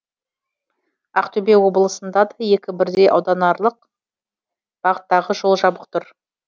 ақтөбе облысында да екі бірдей ауданаралық бағыттағы жол жабық тұр